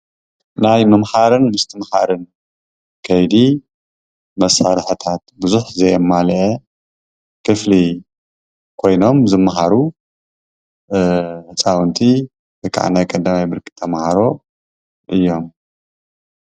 ናይ ምምሃርን ምስትምሃርን ከይዲ መሳርሕታት ቡዙሕ ዘየማለአ ክፍሊ ኮይኖም ዝማሃሩ ህጻዉንቲ ወይከዓ ናይ ቀዳምይ ብርኪ ተምሃሮ እዮም።